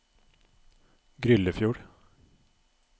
Gryllefjord